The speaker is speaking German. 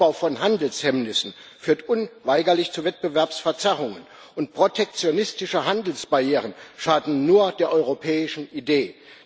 Der Aufbau von Handelshemmnissen führt unweigerlich zu Wettbewerbsverzerrungen, und protektionistische Handelsbarrieren schaden nur der europäischen Idee.